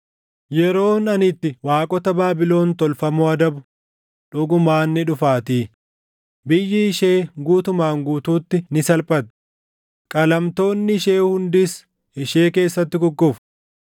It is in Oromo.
Yeroon ani itti waaqota Baabilon tolfamoo adabu dhugumaan ni dhufaatii; biyyi ishee guutumaan guutuutti ni salphatti; qalamtoonni ishee hundis ishee keessatti kukkufu.